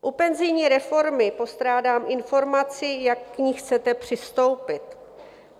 U penzijní reformy postrádám informaci, jak k ní chcete přistoupit.